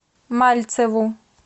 мальцеву